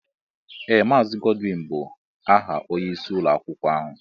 Ee Maazi Godwin bụ aha ónyé ịsị ụlọakwụkwọ ọhụụ.